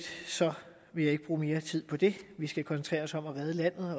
vil jeg ikke bruge mere tid på det vi skal koncentrere os om at redde landet